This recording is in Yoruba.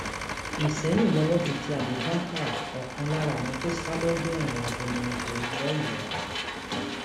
ìsẹyìn lowó ti tẹ abubakar ọkan lára àwọn tó sá lọgbà ẹwọn abolongo lọyọọ